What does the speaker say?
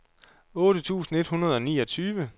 otte tusind et hundrede og niogtyve